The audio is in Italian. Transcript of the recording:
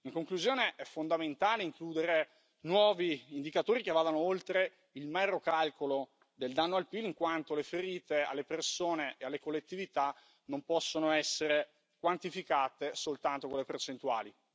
In conclusione, è fondamentale includere nuovi indicatori che vadano oltre il mero calcolo del danno al PIL, in quanto le ferite alle persone e alle collettività non possono essere quantificate soltanto con le percentuali.